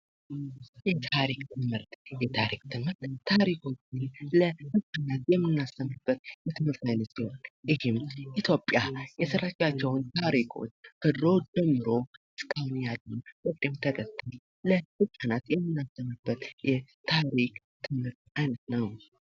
የታሪክ ትምህርት:- የታሪክ ትምህርት ታሪኮችን ለትዉልድ የምናስተምርበት የትምህርት አይነት ነዉ። ይህ ማለት ኢትዮጵያ የሰራቻቸዉን ታሪኮች ከድሮ ጀምሮ እስካሁን ያለዉን በቅደም ተከተል ለህፃናት የምናስተምርበት የታሪክ አይነት ነዉ።